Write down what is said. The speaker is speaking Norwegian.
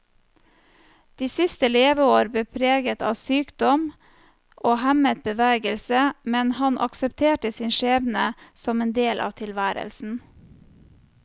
De siste leveår ble preget av sykdom og hemmet bevegelse, men han aksepterte sin skjebne som en del av tilværelsen.